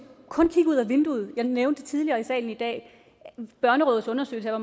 kun kigge ud ad vinduet jeg nævnte tidligere i salen i dag børnerådets undersøgelse af